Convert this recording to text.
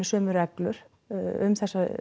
sömu reglur um